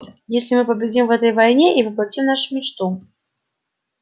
если мы победим в этой войне и воплотим нашу мечту